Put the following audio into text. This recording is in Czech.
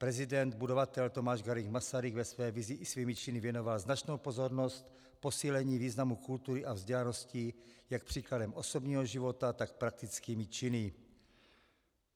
Prezident budovatel Tomáš Garrigue Masaryk ve své vizi i svými činy věnoval značnou pozornost posílení významu kultury a vzdělanosti jak příkladem osobního života, tak praktickými činy.